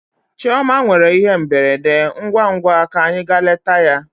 Chioma nwere ihe mberede, ngwa ngwa ka anyị gaa leta ya.